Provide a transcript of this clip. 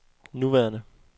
nuværende